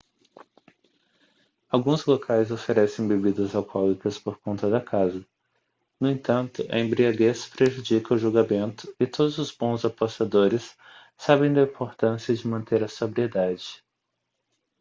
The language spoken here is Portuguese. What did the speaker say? alguns locais oferecem bebidas alcoólicas por conta da casa no entanto a embriaguez prejudica o julgamento e todos os bons apostadores sabem da importância de manter a sobriedade